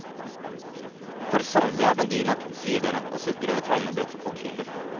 For sannelig er den dyr nok, sier dere og sukker over tegnebrett og kalkyler.